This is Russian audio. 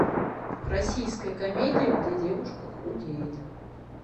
российская комедия где девушка худеет